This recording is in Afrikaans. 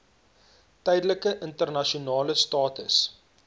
tydelike internasionale status